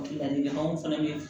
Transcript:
Ladilikanw fana ye